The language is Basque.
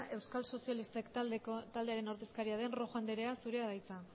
euskal sozialistak taldearen ordezkaria den rojo anderea zurea da hitza